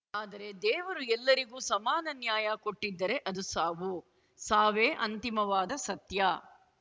ಆದರೆ ದೇವರು ಎಲ್ಲರಿಗೂ ಸಮಾನ ನ್ಯಾಯ ಕೊಟ್ಟಿದ್ದರೆ ಅದು ಸಾವು ಸಾವೇ ಅಂತಿಮವಾದ ಸತ್ಯ